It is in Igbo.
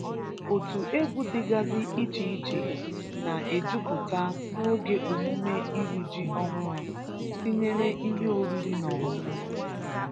Otu egwu dịgazị iche iche na- ejupụta n’oge emume iri ji ọhụrụ tinyere ihe oriri na ọñụñụ.